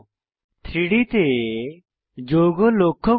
3ডি তে যৌগ লক্ষ্য করুন